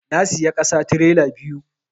Na siya ƙasa tirela biyu